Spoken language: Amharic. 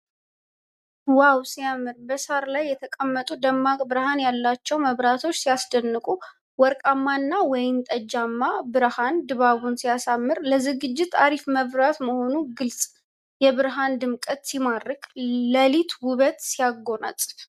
ዋው ሲያምር! በሳር ላይ የተቀመጡ ደማቅ ብርሃን ያላቸው መብራቶች ሲያስደንቁ! ወርቃማው እና ወይንጠጃማው ብርሃን ድባቡን ሲያሳምር! ለዝግጅት አሪፍ መብራት መሆኑ ግልፅ! የብርሃኑ ድምቀት ሲማርክ! ለሊት ውበት ሲያጎናፅፍ!